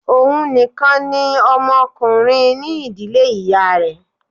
Òhun nìkan ni ọmọ ọkùnrin ní ìdílé ìyá rẹ̀